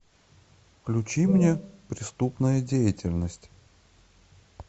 включи мне преступная деятельность